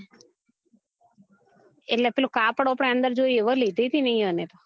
એટલે પીલુ કાપડ આપડે અન્દર જોઈએ એવું લીધું હતું ને એ યો ને તો